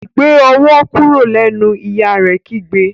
gbé owó kúrò lẹ nu! ìyá rẹ kígbe.